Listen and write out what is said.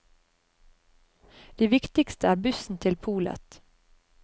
Det viktigste er bussen til polet.